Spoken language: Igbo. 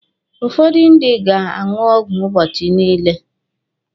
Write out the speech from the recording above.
Ụfọdụ ndị ga-aṅụ ọgwụ ụbọchị niile.